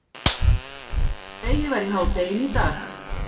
Dregið var í hádeginu í dag